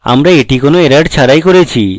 আমরা এটি কোনো errors ছাড়াই করেছি